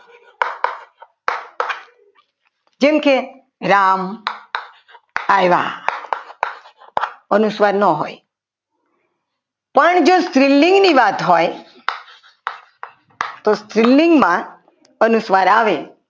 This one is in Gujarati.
જેમ કે રામ આવ્યા અનુસ્વાર ન હોય પણ જો સ્ત્રીલિંગની વાત હોય તો સ્ત્રીલિંગમાં અનુસ્વાર આવે